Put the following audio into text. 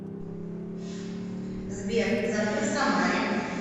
сбер завтра в самаре